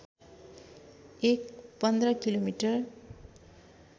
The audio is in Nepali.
एक १५ किमि